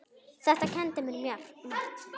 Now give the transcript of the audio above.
Þetta kenndi mér margt.